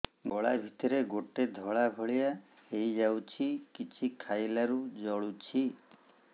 ଗଳା ଭିତରେ ଗୋଟେ ଧଳା ଭଳିଆ ହେଇ ଯାଇଛି କିଛି ଖାଇଲାରୁ ଜଳୁଛି